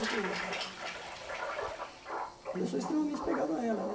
e oito e eu sou extremamente apegado a ela, né?